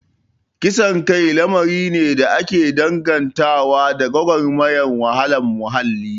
Kisan kai lamari ne da ake dangantawa da gwagwarmayar wahalar muhalli